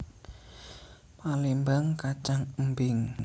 Palémbang kacang embing